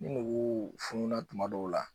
Ni nugu fununa tuma dɔw la